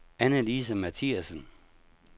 Anne-Lise Mathiasen